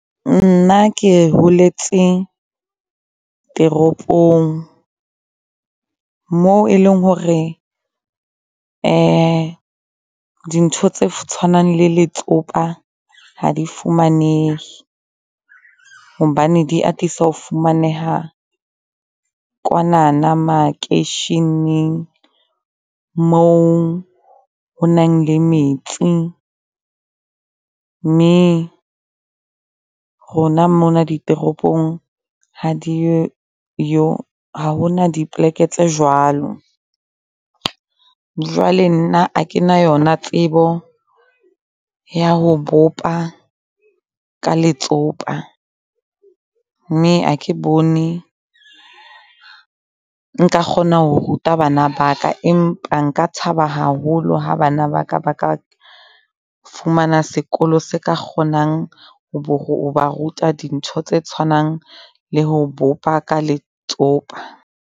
Nna ke holetse toropong moo e leng hore dintho tse tshwanang le letsopa ha di fumanehe hobane di atisa ho fumaneha kwanana makeisheneng moo honang le metsi. Mme rona mona ditoropong ha di yo yo. Ha hona dipleke tse jwalo. Jwale nna ha ke na yona tsebo ya ho bopa ka letsopa mme ha ke bone nka kgona ho ruta bana baka. Empa nka thaba haholo ha bana ba ka baka fumana sekolo se ka kgonang ho ba ruta dintho tse tshwanang le ho bopa ka letsopa.